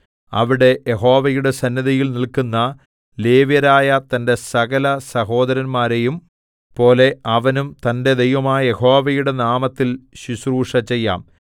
അവിടെ യഹോവയുടെ സന്നിധിയിൽ നില്ക്കുന്ന ലേവ്യരായ തന്റെ സകലസഹോദരന്മാരെയും പോലെ അവനും തന്റെ ദൈവമായ യഹോവയുടെ നാമത്തിൽ ശുശ്രൂഷ ചെയ്യാം